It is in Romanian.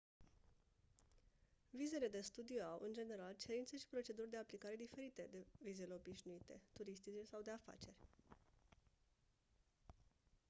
vizele de studii au în general cerințe și proceduri de aplicare diferite de vizele obișnuite turistice sau de afaceri